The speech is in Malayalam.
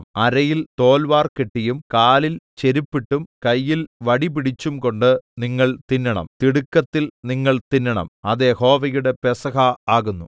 അരയിൽ തോൽവാർ കെട്ടിയും കാലിൽ ചെരുപ്പിട്ടും കയ്യിൽ വടി പിടിച്ചുംകൊണ്ട് നിങ്ങൾ തിന്നണം തിടുക്കത്തിൽ നിങ്ങൾ തിന്നണം അത് യഹോവയുടെ പെസഹ ആകുന്നു